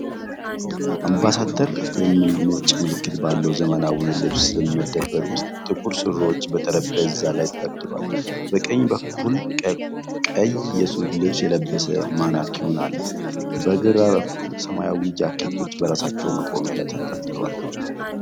በአምባሳደር የሚል ነጭ ምልክት ባለው ዘመናዊ የልብስ መደብር ውስጥ፣ ጥቁር ሱሪዎች በጠረጴዛ ላይ ተደርድረዋል። በቀኝ በኩል ቀይ የሱፍ ልብስ የለበሰ ማኔኩዊን አለ። በግራ በኩል ሰማያዊ ጃኬቶች በራሳቸው መቆሚያ ላይ ተንጠልጥለዋል።